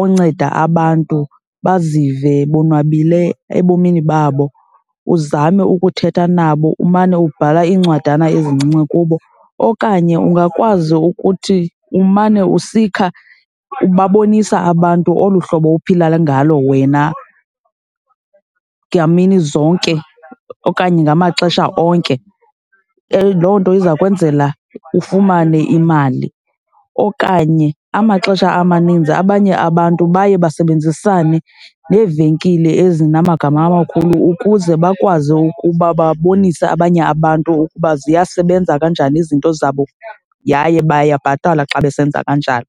onceda abantu bazive bonwabile ebomini babo. Uzame ukuthetha nabo, umane ubhala iincwadana ezincinci kubo. Okanye ungakwazi ukuthi umane usikha, ubabonisa abantu olu hlobo uphila ngalo wena ngamini zonke okanye ngamaxesha onke, loo nto iza kwenzela ufumane imali. Okanye amaxesha amaninzi abanye abantu baye basebenzisane neevenkile ezinamagama amakhulu ukuze bakwazi ukuba babonise abanye abantu ukuba ziyasebenza kanjani izinto zabo yaye bayabhatalwa xa besenza kanjalo.